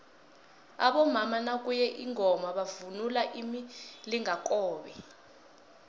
abomama nakuye ingoma bavunula imilingakobe